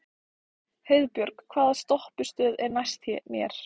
Heiðbjörg, hvaða stoppistöð er næst mér?